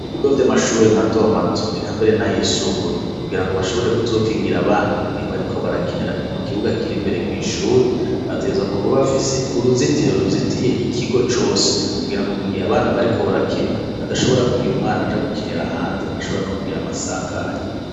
Ibigo vy'amashure matomato eka mbere n'ayisumbuye kugira ngo bashobore kuzokingira abana mugihe bariko barakinira i mu kibuga kiri imbere rw'ishuri bateza kuba bafise uruzitiro ruzitiye ikigo cose kugira ngo mugihe abana bariko barakina adashobora kugira umwana ja gukinira hanze ashobora no kugira amasanganyi.